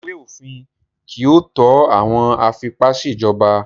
Ìwé-òfin kì í tó àwọn afipá-ṣèjọba.